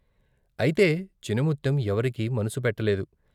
అయితే చినముత్తెం ఎవరికీ మనసు పెట్టలేదు.